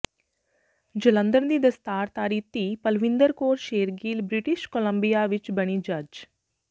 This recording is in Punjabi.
ਜਲੰਧਰ ਦੀ ਦਸਤਾਰਧਾਰੀ ਧੀ ਪਲਵਿੰਦਰ ਕੌਰ ਸ਼ੇਰਗਿੱਲ ਬ੍ਰਿਟਿਸ਼ ਕੋਲੰਬੀਆ ਵਿੱਚ ਬਣੀ ਜੱਜ